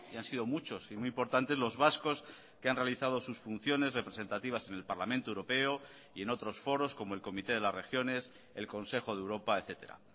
han sido muchos y muy importantes los vascos que han realizado sus funciones representativas en el parlamento europeo y en otros foros como el comité de las regiones el consejo de europa etcétera